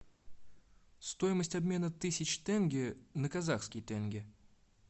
стоимость обмена тысяч тенге на казахский тенге